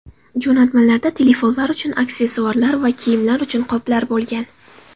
Jo‘natmalarda telefonlar uchun aksessuarlar va kiyimlar uchun qoplar bo‘lgan.